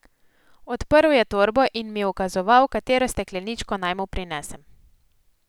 Odprl je torbo in mi ukazoval, katero stekleničko naj mu prinesem.